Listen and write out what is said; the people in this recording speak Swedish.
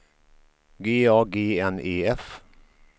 G A G N E F